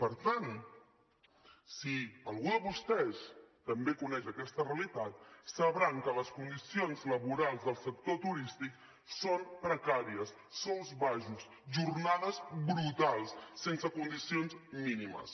per tant si algú de vostès també coneix aquesta realitat deu saber que les condicions laborals del sector turístic són precàries sous baixos jornades brutals sense condicions mínimes